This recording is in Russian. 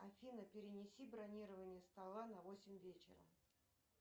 афина перенеси бронирование стола на восемь вечера